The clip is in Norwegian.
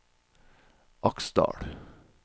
Aksdal